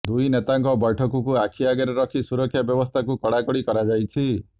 ଦୁଇ ନେତାଙ୍କ ବୈଠକକୁ ଆଖି ଆଗରେ ରଖି ସୁରକ୍ଷା ବ୍ୟବସ୍ଥାକୁ କଡ଼ାକଡ଼ି କରାଯାଇଛି